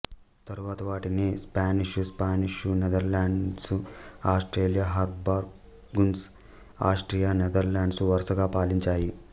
తరువాతి వాటిని Spanish Spanish Netherlands Austria Habsburgs Austria Netherlands వరుసగా పాలించాయి